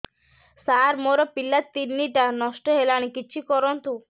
ସାର ମୋର ପିଲା ତିନିଟା ନଷ୍ଟ ହେଲାଣି କିଛି କରନ୍ତୁ